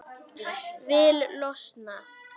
Vil losna.